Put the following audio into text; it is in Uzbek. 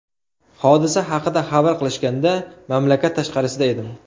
Hodisa haqida xabar qilishganda, mamlakat tashqarisida edim.